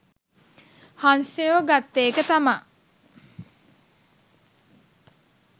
හංසයෝ ගත්ත එක තමා